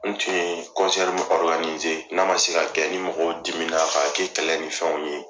N tun ye n'a ma se kɛ ni mɔgɔw dimi na k'a kɛ kɛlɛ ni fɛnw ye.